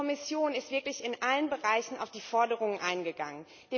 Die Kommission ist wirklich in allen Bereichen auf die Forderungen eingegangen.